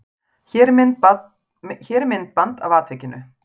Hér er myndband af atvikinu.